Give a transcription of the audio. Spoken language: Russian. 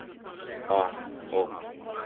а ок